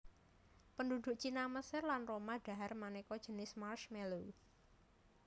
Penduduk Cina Mesir lan Roma dhahar maneka jinis marshmallow